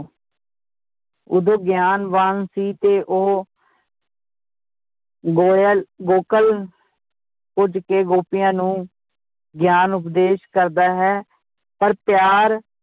ਉਦੋ ਗਿਆਨਵਾਨ ਸੀ ਤੇ ਉਹ ਗੋਇਲ ਗੋਕਲ ਕੇ ਗੋਪੀਆਂ ਨੂੰ ਗਿਆਨ ਉਪਦੇਸ਼ ਕਰਦਾ ਹੈ ਪਰ ਪਿਆਰ